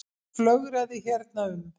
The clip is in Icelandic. Flögraði hérna um.